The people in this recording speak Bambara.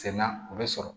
Sɛnɛ na u bɛ sɔrɔ